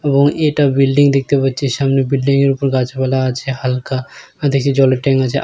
এবং এটা বিল্ডিং দেখতে পাচ্ছি সামনে বিল্ডিং এর উপর গাছপালা আছে হালকা দেখছি জলের ট্যাঙ্ক আছে।